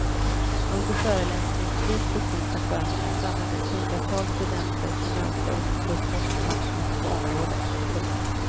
Under föreläsningstid på tisdag förmiddag samlades hundratals studenter till möte och protestmarsch ute på området. punkt